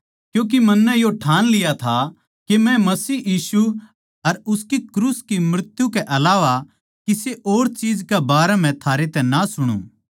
क्यूँके मन्नै यो ठाण लिया था के मै मसीह यीशु अर उसकी क्रूस की मृत्यु के अलावा किसे और चीज के बारें म्ह थारे तै ना सुणु